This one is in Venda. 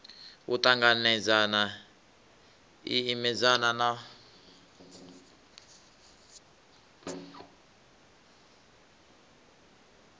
u ṱanganedzana i imedzana na